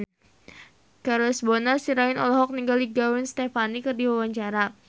Charles Bonar Sirait olohok ningali Gwen Stefani keur diwawancara